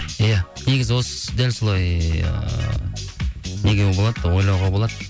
иә негізі осы дәл солай ыыы не болады ойлауға болады